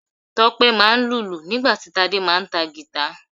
Tope máa ń lùlù nígbà tí Tade máà ń ta guitar.